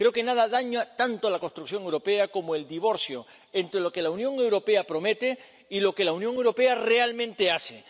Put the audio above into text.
Creo que nada daña tanto a la construcción europea como el divorcio entre lo que la Unión Europea promete y lo que la Unión Europea realmente hace.